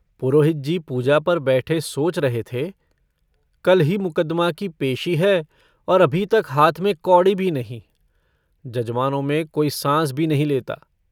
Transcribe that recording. पुरोहित जी पूजा पर बैठे सोच रहे थे। कल ही मुकदमा की पेशी है और अभी तक हाथ में कौड़ी भी नहीं। जजमानों में कोई साँस भी नहीं लेता।